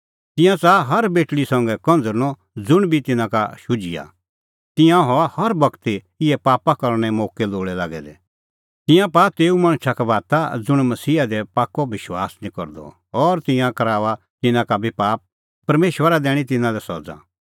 तिंयां च़ाहा हर बेटल़ी संघै कंझ़रनअ ज़ुंण बी तिन्नां का शुझिआ तिंयां हआ हर बगत इहै पाप करने मोक्कै लोल़ै लागै दै तिंयां पाआ तेऊ मणछा कबाता ज़ुंण मसीहा दी पाक्कअ विश्वास निं करदअ और तिंयां कराऊआ तिन्नां का बी पाप तिन्नों लाल़च़ निं कधि खतम हंदअ परमेशरा दैणीं तिन्नां लै सज़ा